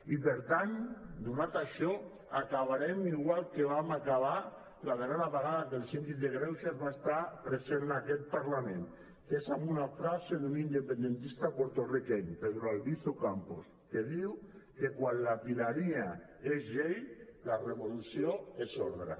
i per tant donat això acabarem igual que vam acabar la darrera vegada que el síndic de greuges va estar present en aquest parlament que és amb una frase d’un independentista porto riqueny pedro albizu campos que diu que quan la tirania és llei la revolució és ordre